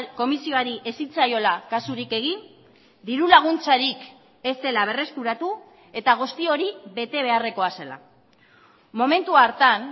komisioari ez zitzaiola kasurik egin dirulaguntzarik ez zela berreskuratu eta guzti hori betebeharrekoa zela momentu hartan